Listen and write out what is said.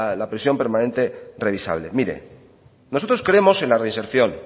la prisión permanente revisable mire nosotros creemos en la reinserción